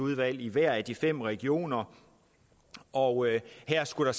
i hver af de fem regioner og her skulle der